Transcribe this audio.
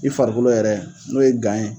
I farikolo yɛrɛ n'o ye gan ye.